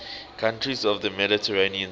countries of the mediterranean sea